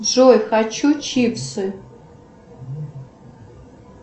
джой хочу чипсы